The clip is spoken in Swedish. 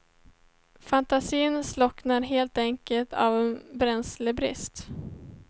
Fantasin slocknar helt enkelt av bränslebrist.